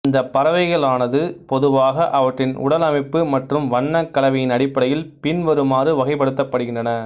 இந்தப் பறவைகளானது பொதுவாக அவற்றின் உடலமைப்பு மற்றும் வண்ணக் கலவையின் அடிப்படையில் பின்வருமாறு வகைப்படுத்தப்படுகின்றன